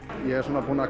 ég er svona